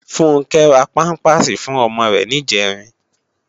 Funke rá pàmpásí fún òmò rè nijèrín